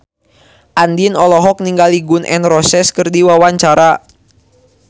Andien olohok ningali Gun N Roses keur diwawancara